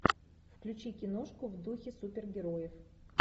включи киношку в духе супергероев